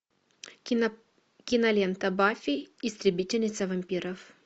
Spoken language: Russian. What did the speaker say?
кинолента баффи истребительница вампиров